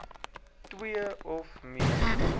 twee of meer